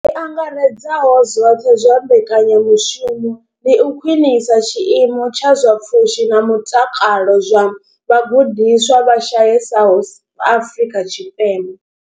I angaredzaho zwoṱhe zwa mbekanya mushumo ndi u khwinisa tshiimo tsha zwa pfushi na mutakalo zwa vhagudiswa vha shayesaho Afrika Tshipembe.